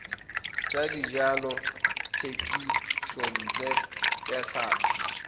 tsa dijalo thekisontle ya tlhapi